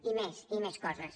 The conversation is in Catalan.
i més i més coses